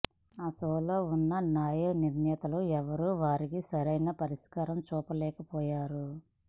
ఆ షోలో ఉన్న న్యాయ నిర్ణేతలు ఎవరూ వారికి సరైన పరిష్కారం చూపలేకపోయారు